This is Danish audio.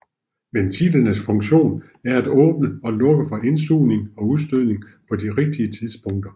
Ventilernes funktion er at åbne og lukke for indsugning og udstødning på de rigtige tidspunkter